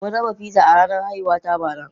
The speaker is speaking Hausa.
Mun raba pizza a ranar haihuwata bara.